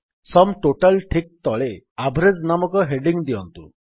sum total ଠିକ୍ ତଳେ average ନାମକ ହେଡିଙ୍ଗ୍ ଦିଅନ୍ତୁ